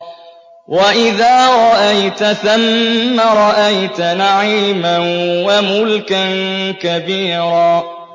وَإِذَا رَأَيْتَ ثَمَّ رَأَيْتَ نَعِيمًا وَمُلْكًا كَبِيرًا